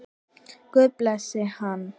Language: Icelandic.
Guð blessi hann.